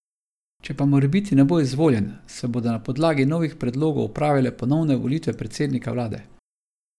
Če pa morebiti ne bo izvoljen, se bodo na podlagi novih predlogov opravile ponovne volitve predsednika vlade.